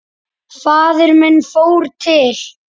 Faðir minn fór til